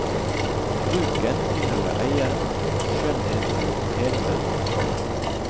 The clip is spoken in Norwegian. Bruken tilhører eieren, skjønnheten hele verden.